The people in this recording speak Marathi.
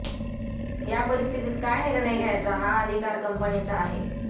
या परिस्थितीत काय निर्णय घ्यायचा हा अधिकार कंपनीचा आहे